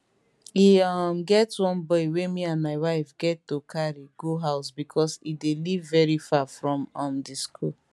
e um get one boy wey me and my wife get to carry go house becos e dey live very far from um di school